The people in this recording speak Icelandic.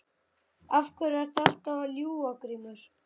Af hverju ertu alltaf að ljúga Grímur?